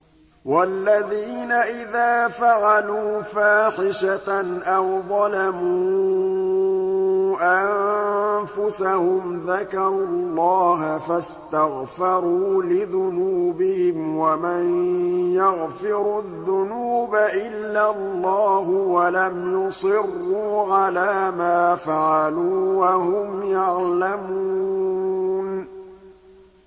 وَالَّذِينَ إِذَا فَعَلُوا فَاحِشَةً أَوْ ظَلَمُوا أَنفُسَهُمْ ذَكَرُوا اللَّهَ فَاسْتَغْفَرُوا لِذُنُوبِهِمْ وَمَن يَغْفِرُ الذُّنُوبَ إِلَّا اللَّهُ وَلَمْ يُصِرُّوا عَلَىٰ مَا فَعَلُوا وَهُمْ يَعْلَمُونَ